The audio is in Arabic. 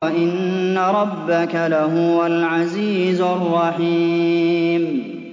وَإِنَّ رَبَّكَ لَهُوَ الْعَزِيزُ الرَّحِيمُ